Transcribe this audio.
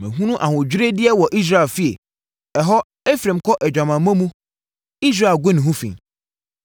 Mahunu ahodwiredeɛ wɔ Israel fie. Ɛhɔ, Efraim kɔ adwamammɔ mu Israel gu ne ho fi.